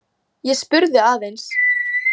Ég spurði aðeins.